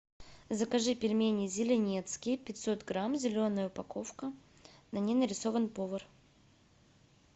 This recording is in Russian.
закажи пельмени зеленецкие пятьсот грамм зеленая упаковка на ней нарисован повар